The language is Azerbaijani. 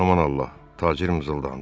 Aman Allah, tacir mızıldandı.